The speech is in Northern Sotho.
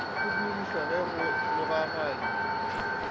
go dirišwa ge go logaganywa